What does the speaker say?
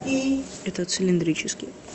это цилиндрический